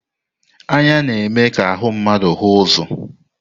Anya na-eme ka ahụ mmadụ hụ ụzọ.